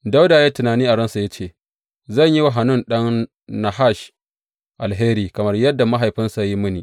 Dawuda ya yi tunani a ransa ya ce, Zan yi wa Hanun ɗan Nahash alheri kamar yadda mahaifinsa ya yi mini.